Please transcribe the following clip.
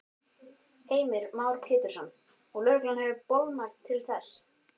Heimir Már Pétursson: Og lögreglan hefur bolmagn til þess?